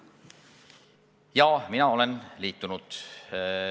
Jaa, mina olen liitunud.